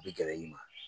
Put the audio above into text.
U bɛ gɛrɛ i ma